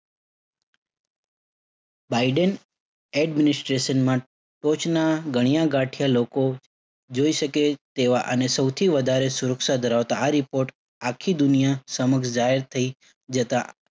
Biden administration માં ટોચના ગણ્યા ગાંઠ્યા લોકો જોઈ શકે તેવા અને સૌથી વધારે સુરક્ષા ધરાવતા આ report આખી દુનિયા સામું રજાયત થઇ જતા